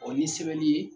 Ɔ ni sɛbɛnni ye